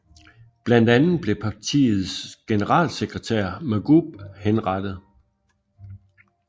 Blandt andet blev partiets generalsekretær Mahgoub henrettet